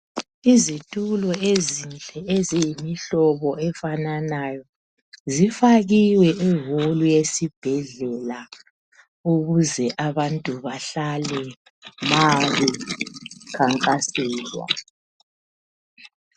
Izitulo ezinhle eziyimihlobo efananayo zifakiwe eholu yesibhedlela ukuze abantu bahlale ma bekhankaselwa.